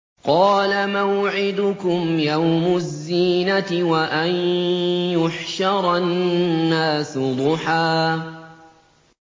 قَالَ مَوْعِدُكُمْ يَوْمُ الزِّينَةِ وَأَن يُحْشَرَ النَّاسُ ضُحًى